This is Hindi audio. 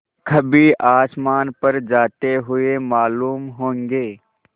कभी आसमान पर जाते हुए मालूम होंगे